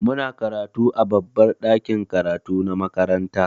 Muna karatu a babbar ɗakin karatu na makaranta.